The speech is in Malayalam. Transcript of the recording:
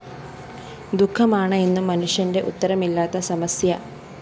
ദുഃഖമാണ് എന്നും മനുഷ്യന്റെ ഉത്തരമില്ലാത്ത സമസ്യ